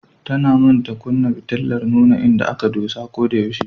Tana manta kunna fitilar nuna inda aka dosa ko da yaushe.